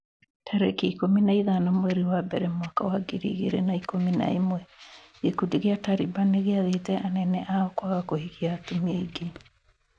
tarĩki ikũmi na ithano mweri wa mbere mwaka wa ngiri igĩrĩ na ikũmi na ĩmwe gĩkundi gĩa Taliban nĩgĩathĩte anene ao kwaga kũhikia atumia aingĩ.